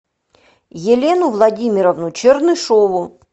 елену владимировну чернышеву